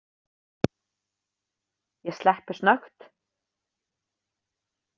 Ég sleppi snöggt.